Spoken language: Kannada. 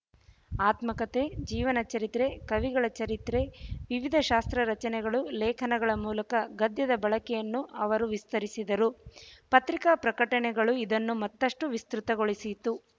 ಆತ್ಮಕಥೆ ಜೀವನಚರಿತ್ರೆ ಕವಿಗಳ ಚರಿತ್ರೆ ವಿವಿಧ ಶಾಸ್ತ್ರರಚನೆಗಳು ಲೇಖನಗಳ ಮೂಲಕ ಗದ್ಯದ ಬಳಕೆಯನ್ನು ಅವರು ವಿಸ್ತರಿಸಿದರು ಪತ್ರಿಕಾ ಪ್ರಕಟಣೆಗಳು ಇದನ್ನು ಮತ್ತಷ್ಟು ವಿಸ್ತೃತಗೊಳಿಸಿತು